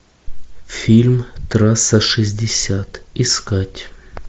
фильм трасса шестьдесят искать